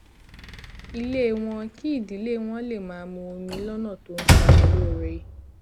ilé wọn kí ìdílé wọn lè máa mu omi lónà tó ń ṣara lóore